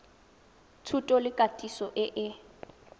thuto le katiso e e